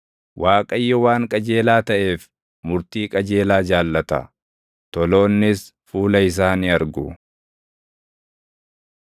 Waaqayyo waan qajeelaa taʼeef, murtii qajeelaa jaallata; toloonnis fuula isaa ni argu.